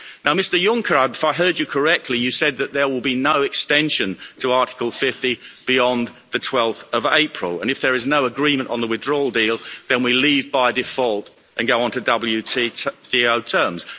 Mr Juncker, if I heard you correctly, you said that there will be no extension to Article 50 beyond 12 April, and if there is no agreement on the withdrawal deal, then we leave by default and go on to WTO terms.